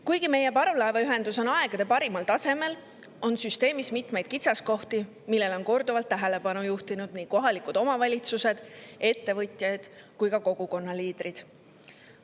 Kuigi meie parvlaevaühendus on aegade parimal tasemel, on süsteemis mitmeid kitsaskohti, millele on korduvalt tähelepanu juhtinud nii kohalikud omavalitsused, ettevõtjad kui ka kogukonna liidrid.